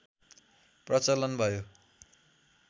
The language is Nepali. प्रचलन भयो